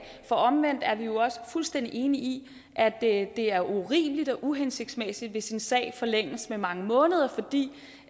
for omvendt er vi jo også fuldstændig enige i at det er urimeligt og uhensigtsmæssigt hvis en sag forlænges med mange måneder fordi